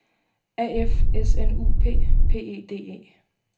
A F S N U P P E D E